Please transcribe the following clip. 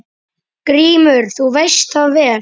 GRÍMUR: Þú veist það vel.